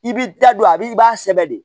I b'i da don a b'i i b'a sɛbɛ de